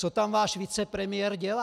Co tam váš vicepremiér dělá?